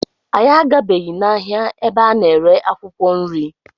Anyị agabeghị n'ahịa ebe a na-ere akwụkwọ nri.